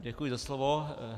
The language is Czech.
Děkuji za slovo.